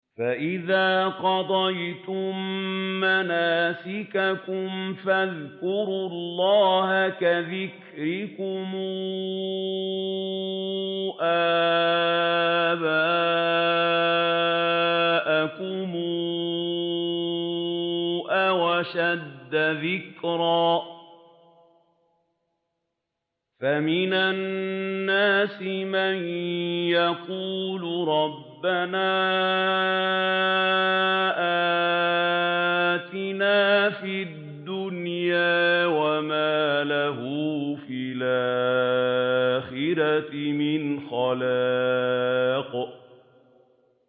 فَإِذَا قَضَيْتُم مَّنَاسِكَكُمْ فَاذْكُرُوا اللَّهَ كَذِكْرِكُمْ آبَاءَكُمْ أَوْ أَشَدَّ ذِكْرًا ۗ فَمِنَ النَّاسِ مَن يَقُولُ رَبَّنَا آتِنَا فِي الدُّنْيَا وَمَا لَهُ فِي الْآخِرَةِ مِنْ خَلَاقٍ